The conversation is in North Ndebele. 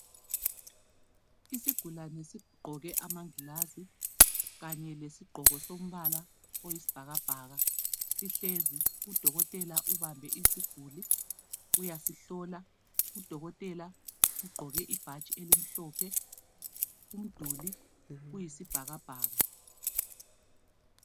Isigulane esigqoke amangilazi kanye lesigqoko sombala oyisibhakabhaka sihlezi .Udokotela ubambe isiguli uyasihlola. Udokotela ugqoke ibhatshi elimhlophe umduli uyisibhakabhaka